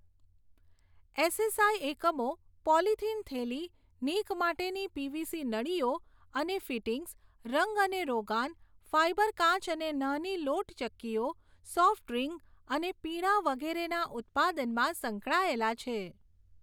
SSI એકમો polythene થેલી, નીક માટેની પીવીસી નળીઓ અને ફિટિંગ્સ, રંગ અને રોગાન, ફાઇબર કાચ અને નાની લોટ ચક્કીઓ, સોફ્ટ ડ્રિંક અને પીણાં વગેરેના ઉત્પાદનમાં સંકળાયેલા છે.